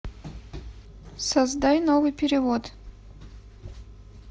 создай новый перевод